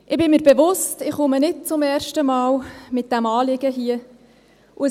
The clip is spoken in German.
Ich bin mir bewusst, dass ich nicht zum ersten Mal mit diesem Anliegen hierherkomme.